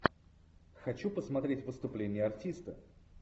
хочу посмотреть выступление артиста